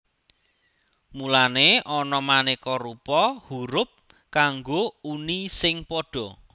Mulané ana manéka rupa hurup kanggo uni sing padha